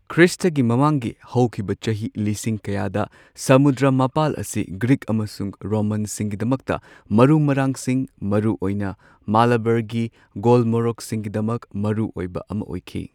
ꯈ꯭ꯔꯤꯁꯇꯒꯤ ꯃꯃꯥꯡꯒꯤ ꯍꯧꯈꯤꯕ ꯆꯍꯤ ꯂꯤꯁꯤꯡ ꯀꯌꯥꯗ ꯁꯃꯨꯗ꯭ꯔ ꯃꯄꯥꯜ ꯑꯁꯤ ꯒ꯭ꯔꯤꯛ ꯑꯃꯁꯨꯡ ꯔꯣꯃꯥꯟꯁꯤꯡꯒꯤꯗꯃꯛꯇ ꯃꯔꯨ ꯃꯔꯥꯡꯁꯤꯡ, ꯃꯔꯨ ꯑꯣꯏꯅ ꯃꯥꯂꯥꯕꯔꯒꯤ ꯒꯣꯜꯃꯣꯔꯣꯛꯁꯤꯡꯒꯤꯗꯃꯛ ꯃꯔꯨꯑꯣꯏꯕ ꯑꯃ ꯑꯣꯢꯈꯤ꯫